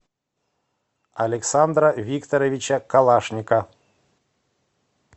александра викторовича калашника